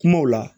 Kumaw la